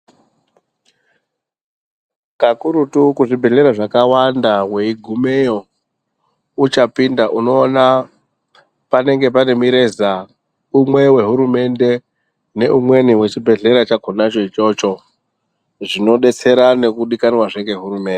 Kakurutu kuzvibhedhlera zvakawanda weigumeyo uchapinda unoona panenge pane mireza umwe wehurumende neumweni wechibhehlera chakonacho ichocho, zvinodetsera nekudikanwazve ngehurumende.